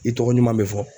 I tɔgɔ ɲuman bɛ fɔ